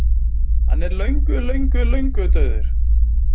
Hann er löngu löngu löngu dauður.